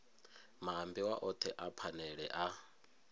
maambiwa othe a phanele a